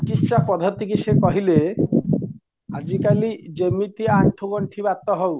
ଚିକିଷ୍ୟା ପଦ୍ଧତିକି ସେ କହିଲେ ଆଜି କଲି ଯେମିତିଆ ଆଣ୍ଠୁ ଗଣ୍ଠି ବାତ ହଉ